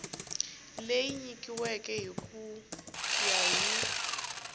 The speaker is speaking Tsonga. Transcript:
leyi nyikiweke ku ya hi